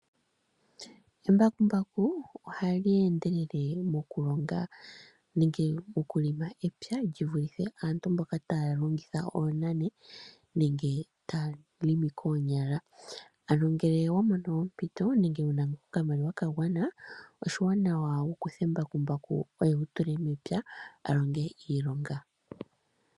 Embakumbaku ohali endelele mokulonga nenge mokulima epya li vulithe aantu mboka taya longitha oonani nenge taya longo koonyala. Ngele owa mono ompito nenge wu na okamaliwa ka gwana oshiwanawa wu kuthe mbakumbaku oye wu tule mepya a longe iilonga.